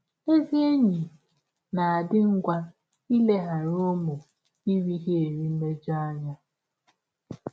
Ezị enyi na - adị ngwa ileghara ụmụ ịrịghiri mmejọ anya.